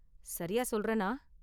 சரியா சொல்றேனா?